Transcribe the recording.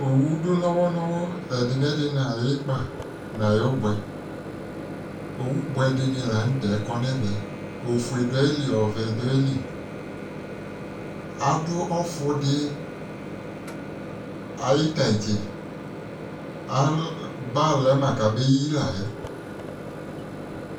owu do nowɔ nowɔ ɛdi no ɛdi no ayi ikpa no ayi oboɛ owu boɛ dini lantɛ kɔ no ɛvɛ ofue do ayili ɔvɛ do ayili ado ɔfo di ayi tantse aba lɛ ma ko abeyi la yɛ